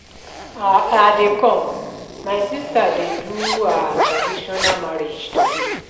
I dey come, my sister dey do her traditional marriage today